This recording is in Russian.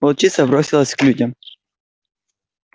волчица бросилась к людям